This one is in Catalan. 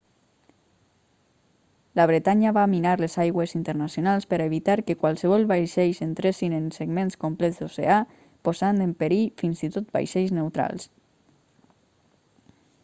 la bretanya va minar les aigües internacionals per a evitar que qualssevol vaixells entressin en segments complets d'oceà posant en perill fins i tot vaixells neutrals